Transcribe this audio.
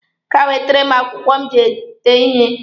Gaa wetere m akwụkwọ m ji ede ihe!